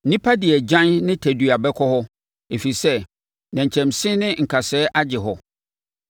Nnipa de agyan ne tadua bɛkɔ hɔ, ɛfiri sɛ nnɛnkyɛnse ne nkasɛɛ agye hɔ.